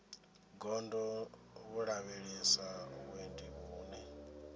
gondo vho lavhelesa vhuendi vhune